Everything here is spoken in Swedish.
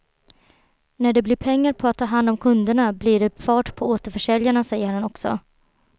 När det blir pengar på att ta hand om kunderna blir det fart på återförsäljarna säger han också.